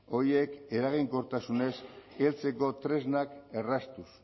horiek eraginkortasunez heltzeko tresnak erraztuz